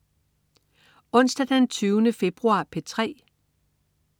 Onsdag den 20. februar - P3: